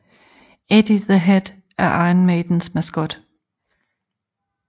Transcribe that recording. Eddie the Head er Iron Maidens maskot